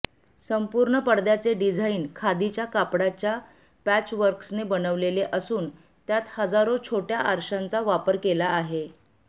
संपूर्ण पडद्याचे डिझाईन खादीच्या कापडाच्या पॅचवर्क्सने बनवलेले असून त्यात हजारो छोटया आरशांचा वापर केला आहे